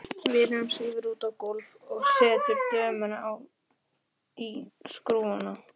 Vinurinn svífur út á gólfið og setur dömuna í skrúfstykki.